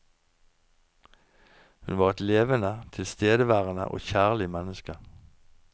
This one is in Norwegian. Hun var et levende, tilstedeværende og kjærlig menneske.